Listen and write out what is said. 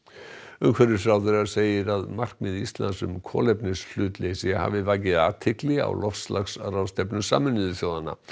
umhverfisráðherra segir að markmið Íslands um kolefnishlutleysi hafi vakið athygli á loftslagsráðstefnu Sameinuðu þjóðanna